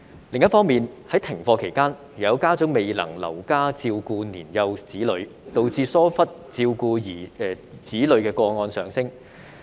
另一方面，在停課期間，有家長未能留家照顧年幼子女，導致疏忽照顧子女的個案上升。